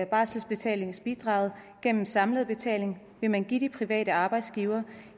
barselbetalingensbidraget gennem samlet betaling vil man give de private arbejdsgivere